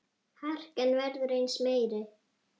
Harkan verður aðeins meiri.